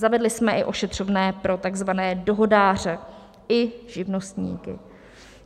Zavedli jsme i ošetřovné pro takzvané dohodáře i živnostníky.